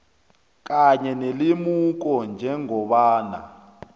kanye nelemuko njengombana